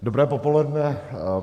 Dobré popoledne.